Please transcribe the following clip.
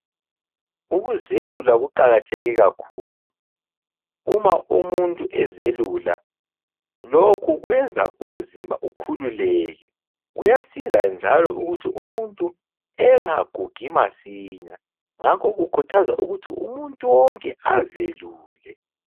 Ukuzelula kuqakatheke kakhulu. Uma umuntu ezelula lokhu kwenza umzimba ukhululeke. Kuyasiza njalo ukuthi umuntu engagugi masinya ngakho kukhuthazwa ukuthi umuntu wonke azelule.